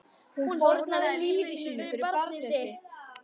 Hún fórnaði lífi sínu fyrir barnið sitt.